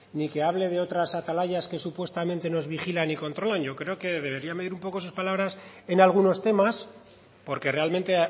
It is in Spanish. ni que hable de otras atalayas que supuestamente nos vigilan y controlan yo creo que debería de medir un poco sus palabras en algunos temas porque realmente